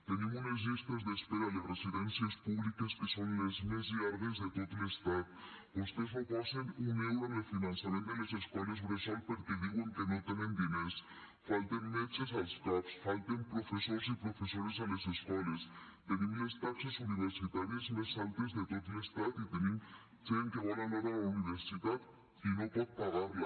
tenim unes llistes d’espera a les residències públiques que són les més llargues de tot l’estat vostès no posen un euro en el finançament de les escoles bressol perquè diuen que no tenen diners falten metges als cap falten professors i professores a les escoles tenim les taxes universitàries més altes de tot l’estat i tenim gent que vol anar a la universitat i no pot pagar la